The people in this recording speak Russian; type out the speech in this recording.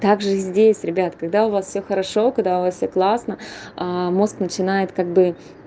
также здесь ребят когда у вас всё хорошо когда у вас всё классно а мозг начинает как бы